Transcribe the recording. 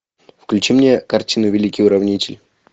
включи мне картину великий уравнитель